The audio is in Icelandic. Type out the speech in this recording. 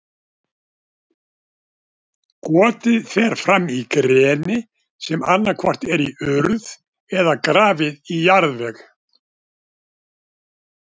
Gotið fer fram í greni, sem annað hvort er í urð eða grafið í jarðveg.